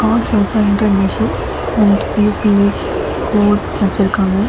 ஒரு ஸ்வைப் பண்ற machine and UPI code வச்சிருக்காங்க.